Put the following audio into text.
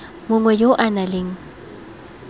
mongwe yo o nang le